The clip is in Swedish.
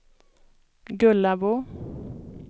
Gullabo